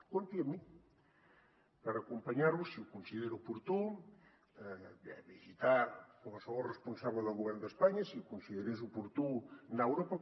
compti amb mi per acompanyar lo si ho considera oportú a visitar qualsevol responsable del govern d’espanya si ho considerés oportú anar a europa